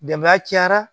Dɛmɛ cayara